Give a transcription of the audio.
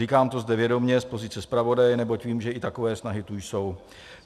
Říkám to zde vědomě z pozice zpravodaje, neboť vím, že i takové snahy tu jsou.